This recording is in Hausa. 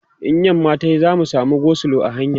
in yamma tayi za'a samu go slow a hanya